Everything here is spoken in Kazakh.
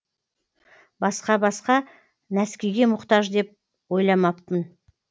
басқа басқа нәскиге мұқтаж деп ойламаппын